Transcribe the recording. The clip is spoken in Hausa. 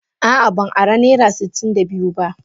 A'a ban ara naira sitin da biyu ba.